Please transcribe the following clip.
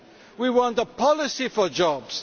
We want a policy for jobs.